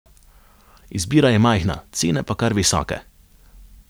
Izbira je majhna, cene pa kar visoke.